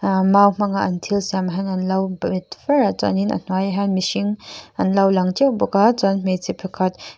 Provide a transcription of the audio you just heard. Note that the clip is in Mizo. a mai hmanga an thil siam chuan in a hnuaiah hian in mihring anlo lang teuh bawk a chuan hmeichhe pakhat--